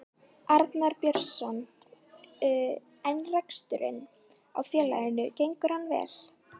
Arnar Björnsson: En reksturinn á félaginu gengur hann vel?